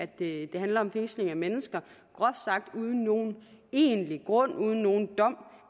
det handler om fængsling af mennesker groft sagt uden nogen egentlig grund uden nogen dom